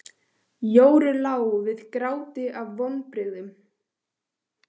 Jóru lá við gráti af vonbrigðum.